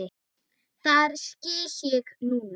Það skil ég núna.